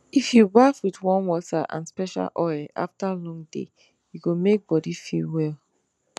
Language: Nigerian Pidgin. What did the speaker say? if you baff with warm water and special oil after long day e go make body feel well